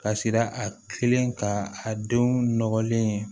Ka siran a kilen ka a denw nɔgɔlen